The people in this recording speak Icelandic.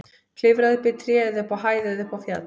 Klifraðu upp í tré eða upp á hæð eða upp á fjall.